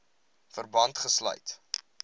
verband gesluit